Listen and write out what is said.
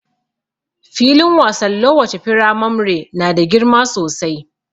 Filin wasan lowace firamamre na da girma sosai.